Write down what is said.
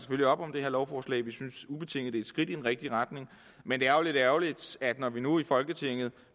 op om det her lovforslag vi synes ubetinget et skridt i den rigtige retning men det er jo lidt ærgerligt at der når man nu i folketinget